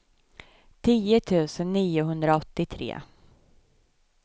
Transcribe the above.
tio tusen niohundraåttiotre